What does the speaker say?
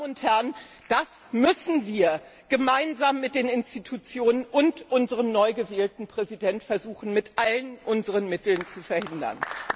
Meine Damen und Herren, das müssen wir gemeinsam mit den Institutionen und unserem neu gewählten Präsidenten versuchen, mit allen unseren Mitteln zu verhindern!